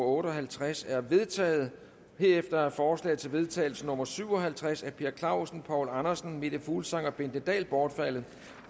otte og halvtreds er vedtaget herefter er forslag til vedtagelse nummer v syv og halvtreds af per clausen poul andersen meta fuglsang og bente dahl bortfaldet